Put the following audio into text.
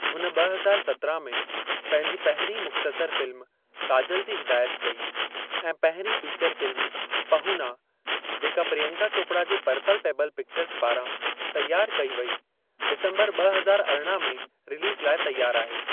हुन ॿ हज़ार सत्राहं में पंहिंजी पहिरीं मुख़्तसर फ़िल्म काजल जी हिदायत कई ऐं पहिरीं फ़ीचर फ़िल्म 'पहूना' जेका प्रियंका चोपड़ा जे पर्पल पेबल पिक्चर्ज़ पारां तियारु कई वई डिसम्बरु ॿ हज़ार अरिड़हं में रिलीज़ लाइ तियार आहे।